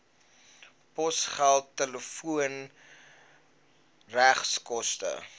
posgeld telefoon regskoste